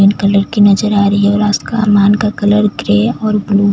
pink colour की नज़र आ रही हैं और आस क मान का कलर ग्रे और ब्लू --